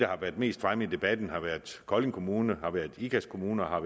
har været mest fremme i debatten har været kolding kommune ikast kommune og